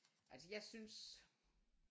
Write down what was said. Altså jeg synes